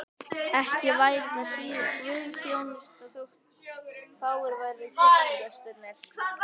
Ekki væri það síður guðsþjónusta þótt fáir væru kirkjugestirnir.